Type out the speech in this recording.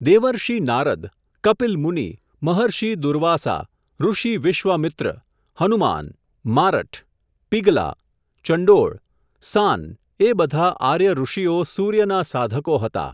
દેવર્ષિ નારદ, કપિલમુનિ, મહર્ષિ દુર્વાસા, ઋષિ વિશ્વામિત્ર, હનુમાન, મારઠ, પિંગલા, ચંડોળ, સાંન એ બધા આર્ય ઋષિઓ સૂર્યના સાધકો હતા.